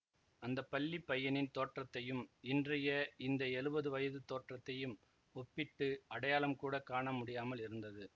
அந்த பள்ளி பையனின் தோற்றத்தையும் இன்றைய இந்த எழுபது வயதுத் தோற்றத்தையும் ஒப்பிட்டு அடையாளம் கூட காண முடியாமல் இருந்தது